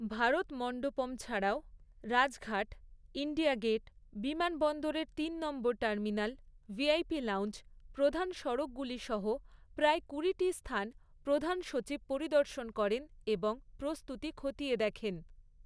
ভারত মন্ডপম ছাড়াও Rajghat, India Gate, বিমানবন্দরের তিন নম্বর টার্মিনাল, ভিআইপি লাউঞ্জ, প্রধান সড়কগুলি সহ প্রায় কুড়িটি স্থান প্রধান সচিব পরিদর্শন করেন এবং প্রস্তুতি খতিয়ে দেখেন।